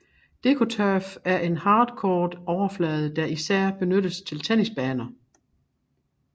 DecoTurf er en hardcourt overflade der især benyttes til tennisbaner